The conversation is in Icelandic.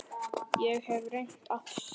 Ég hef reynt allt.